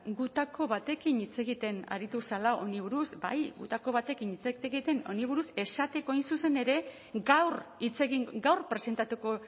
gutako batekin hitz egiten aritu zela honi buruz bai gutako batekin hitz egiten honi buruz esateko hain zuzen ere gaur hitz egin gaur presentatuko